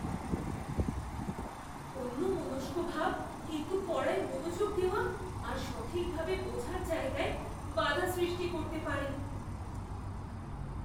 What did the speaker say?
অন্যমনস্কভাব কিন্তু পড়ায় মনোযোগ দেওয়া আর সঠিকভাবে বোঝার জায়গায় বাধা সৃষ্টি করতে পারে।